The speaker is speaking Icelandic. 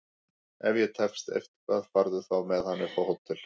Ef ég tefst eitthvað farðu þá með hann upp á hótel!